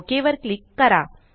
okay वर click करा